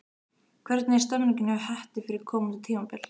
Hvernig er stemningin hjá Hetti fyrir komandi tímabil?